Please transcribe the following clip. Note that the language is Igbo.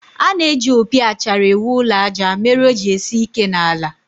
A na-eji opi achara ewu ụlọ àjà mere o ji esi ike n'ala